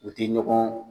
U tɛ ɲɔgɔn